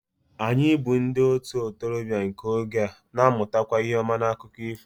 Anyị bụ́ ndị ntorobịa nke oge a na-amụtakwa ihe ọma n'akụkọ ifo